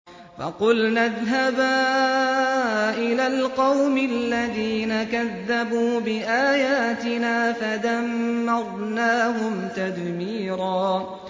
فَقُلْنَا اذْهَبَا إِلَى الْقَوْمِ الَّذِينَ كَذَّبُوا بِآيَاتِنَا فَدَمَّرْنَاهُمْ تَدْمِيرًا